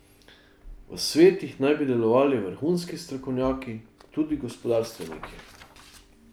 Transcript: V svetih naj bi delovali vrhunski strokovnjaki, tudi gospodarstveniki.